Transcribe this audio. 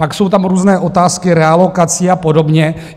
Pak jsou tam různé otázky realokací a podobně.